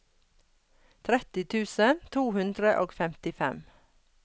tretti tusen to hundre og femtifem